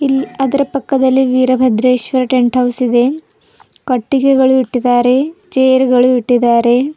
ಇಲ್ ಅದ್ರ ಪಕ್ಕದಲ್ಲಿ ವೀರಭದ್ರೇಶ್ವರ ಟೆಂಟ್ ಹೌಸ್ ಇದೆ ಕಟ್ಟಿಗೆಗಳು ಇಟ್ಟಿದ್ದಾರೆ ಚೇರ್ ಗಳು ಇಟ್ಟಿದ್ದಾರೆ.